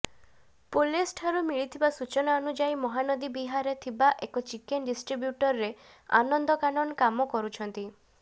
ପୁଲିସ୍ଠାରୁ ମିଳିଥିବା ସୂଚନା ଅନୁଯାୟୀ ମହାନଦୀବିହାରରେ ଥିବା ଏକ ଚିକେନ୍ ଡିଷ୍ଟ୍ରିବ୍ୟୁଟରରେ ଆନନ୍ଦ କାନନ କାମ କରୁଛନ୍ତି